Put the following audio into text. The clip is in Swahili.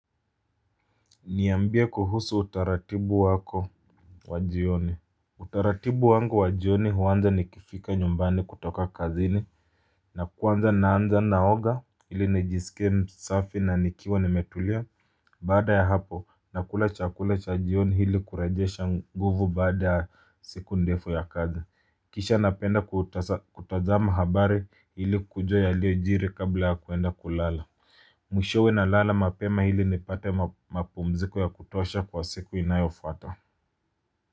Niambie kuhusu utaratibu wako wa jioni. Utaratibu wangu wa jioni huanza nikifika nyumbani kutoka kazini na kuanza naanza naoga ili nijisikie msafi na nikiwa nimetulia. Baada ya hapo nakula chakula cha jioni ili kurejesha nguvu baada siku ndefu ya kazi. Kisha napenda kutazama habari ili kujua yaliojiri kabla ya kuenda kulala. Mwishowe nalala mapema ili nipate mapumziko ya kutosha kwa siku inayofuata.